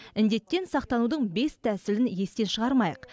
індеттен сақтанудың бес тәсілін естен шығармайық